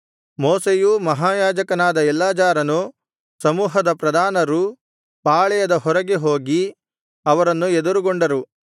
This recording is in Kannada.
ಮೋಶೆಯೂ ಮಹಾಯಾಜಕನಾದ ಎಲ್ಲಾಜಾರನೂ ಸಮೂಹದ ಪ್ರಧಾನರೂ ಪಾಳೆಯದ ಹೊರಗೆ ಹೋಗಿ ಅವರನ್ನು ಎದುರುಗೊಂಡರು